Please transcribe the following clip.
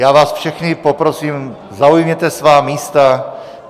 Já vás všechny poprosím, zaujměte svá místa.